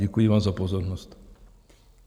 Děkuji vám za pozornost.